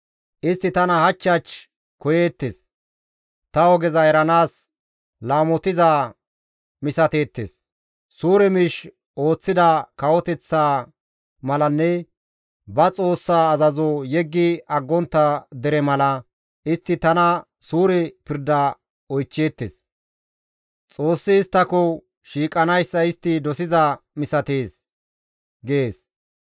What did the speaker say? Istti tana hach hach koyeettes; ta ogeza eranaas laamotiza misateettes. Suure miish ooththida kawoteththa malanne ba Xoossaa azazo yeggi aggontta dere mala, istti tana suure pirda oychcheettes; Xoossi isttako shiiqanayssa istti dosiza misatees» gees.